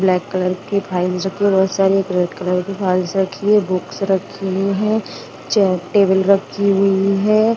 Black colour के files रखे बहुत सारे एक रेड कलर की फाइल्स रखी है बुक्स रखी हुई है चेयर टेबल रखी हुई है।